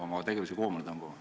... oma tegevust koomale tõmbama?